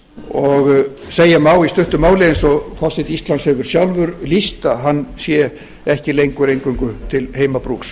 og segja má í stuttu máli eins og forseti íslands hefur sjálfur lýst að hann sé ekki lengur eingöngu til heimabrúks